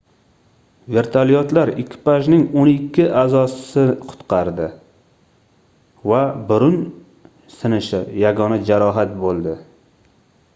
vertolyotlar ekipajning oʻn ikki aʼzosi qutqardi va burun sinishi yagona jarohat boʻldi